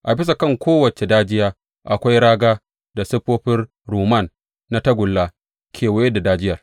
A bisa kan kowace dajiya akwai raga da siffofin rumman na tagulla kewaye da dajiyar.